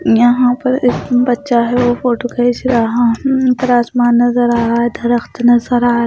यहां पर एक बच्चा है वह फोटो खींच रहा उन पर आसमान नजर आ रहा है दरख्त नजर आ रहा है।